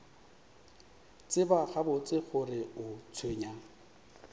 tseba gabotse gore o tshwenywa